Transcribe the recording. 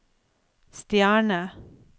stjerne